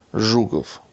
жуков